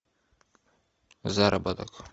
заработок